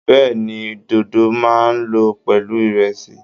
Bẹ́ẹ̀ni, dódó máa lọ pẹ̀lú ìrẹ̀sì